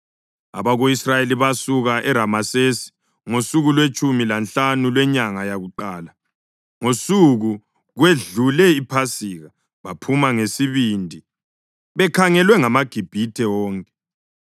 Abako-Israyeli basuka eRamesesi ngosuku lwetshumi lanhlanu lwenyanga yakuqala, ngosuku kwedlule iPhasika. Baphuma ngesibindi bekhangelwe ngamaGibhithe wonke,